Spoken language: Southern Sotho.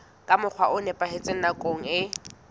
ka mokgwa o nepahetseng nakong